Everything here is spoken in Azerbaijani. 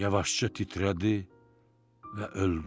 Yavaşca titrədi və öldü.